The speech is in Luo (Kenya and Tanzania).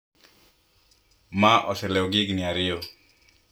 Ma oselewo gi higni ariyo